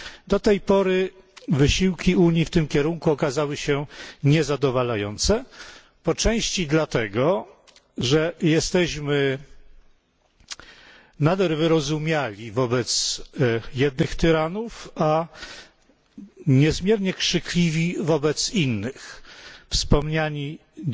Do tej pory wysiłki Unii w tym kierunku okazały się niezadowalające, po części dlatego, że jesteśmy nadal wyrozumiali wobec jednych tyranów, a niezmiernie krzykliwi wobec innych. Mówili o tym